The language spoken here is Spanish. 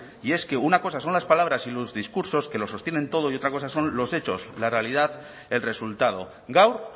y es que una cosa son las palabras y los discursos que lo sostienen todo y otra cosa son los hechos la realidad el resultado gaur